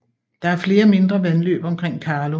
Der er flere mindre vandløb omkring Karlum